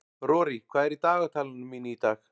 Rorí, hvað er í dagatalinu mínu í dag?